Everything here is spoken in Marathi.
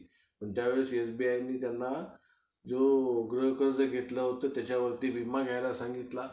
काय problem तर नाही आहे. realme मध्ये